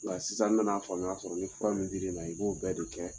Nga sisan n nana faamuya sɔrɔ. Ni fura min diri ma, i b'o bɛɛ de kɛ